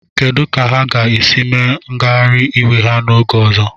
Kedu ka ha ga-esi mee ngagharị iwe ha oge ọzọ?